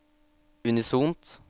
unisont